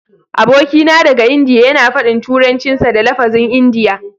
Abokina daga Indiya yana faɗin Turancinsa da lafazin Indiya.